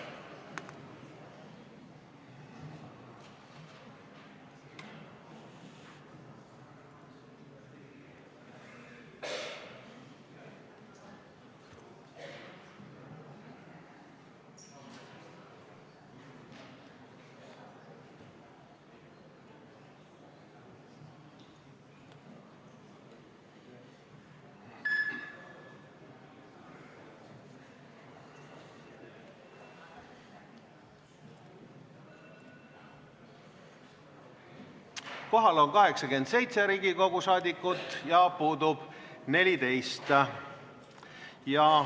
Kohaloleku kontroll Kohal on 87 Riigikogu liiget ja puudub 14.